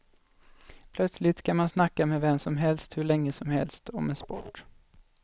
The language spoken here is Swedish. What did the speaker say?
Plötsligt kan man snacka med vem som helst hur länge som helst om en sport.